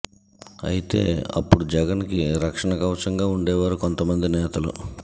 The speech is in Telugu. అయితే అప్పుడు జగన్ కి రక్షణ కవచంగా ఉండేవారు కొంతమంది నేతలు